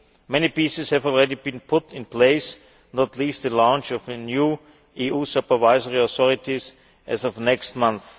Many pieces have already been put in place, not least, the launch of a new EU supervisory authority as of next month.